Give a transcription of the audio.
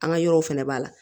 An ka yɔrɔ fana b'a la